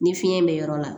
Ni fiɲɛ be yɔrɔ la